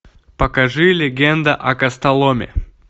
покажи легенда о костоломе